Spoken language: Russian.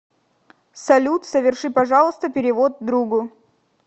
салют соверши пожалуйста перевод другу